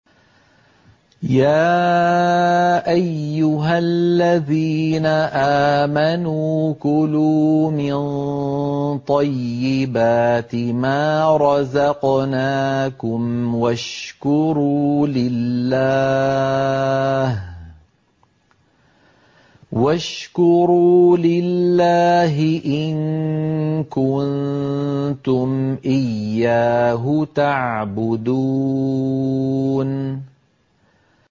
يَا أَيُّهَا الَّذِينَ آمَنُوا كُلُوا مِن طَيِّبَاتِ مَا رَزَقْنَاكُمْ وَاشْكُرُوا لِلَّهِ إِن كُنتُمْ إِيَّاهُ تَعْبُدُونَ